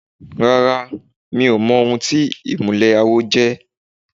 Rárá, mi ò mọ ohun tí ìmùlẹ̀ àwo jẹ́.